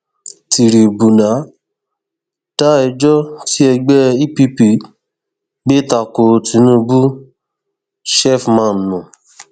fídíò kan tí wọn wò níwájú ìgbìmọ ọhún ló fìdí ọrọ yìí múlẹ ní sátidé ọjọ àbámẹta